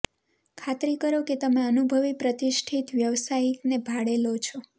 ખાતરી કરો કે તમે અનુભવી પ્રતિષ્ઠિત વ્યવસાયિકને ભાડે લો છો